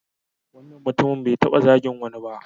Wannan mutumin bai taɓa zagin wani ba.